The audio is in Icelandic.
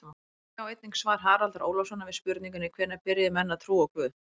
Sjá einnig svar Haraldar Ólafssonar við spurningunni Hvenær byrjuðu menn að trúa á guð?